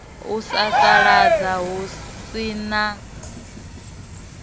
u sasaladza hu si na